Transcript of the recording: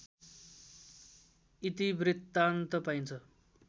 इतिवृत्तान्त पाइन्छ